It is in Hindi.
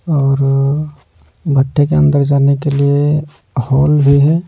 और भट्टे के अंदर जाने के लिए हॉल भी है।